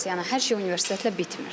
Yəni hər şey universitetlə bitmir.